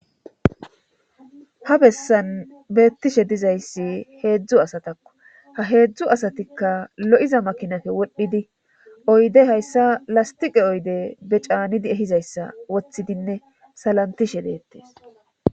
Ha bessan beettishe dizayssi heedzdzu asatakko ha heedzdzu asatikka lo'iza makinappe wodhdhidi oyde hayssa lastiqe oyde bee caanidi ehizayssa woththidinne salantishshe deettees